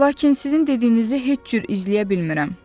Lakin sizin dediyinizi heç cür izləyə bilmirəm.